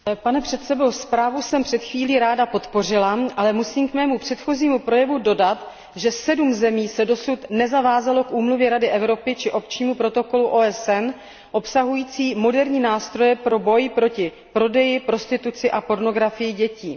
Pane předsedo, zprávu jsem před chvílí ráda podpořila, ale musím k mému předchozímu projevu dodat, že sedm zemí se dosud nezavázalo k úmluvě Rady Evropy či opčnímu protokolu OSN obsahujícím moderní nástroje pro boj proti prodeji, prostituci a pornografii dětí.